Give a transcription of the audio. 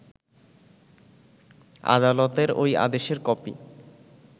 আদালতের ওই আদেশের কপি